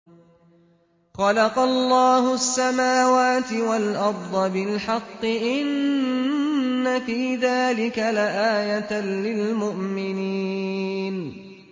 خَلَقَ اللَّهُ السَّمَاوَاتِ وَالْأَرْضَ بِالْحَقِّ ۚ إِنَّ فِي ذَٰلِكَ لَآيَةً لِّلْمُؤْمِنِينَ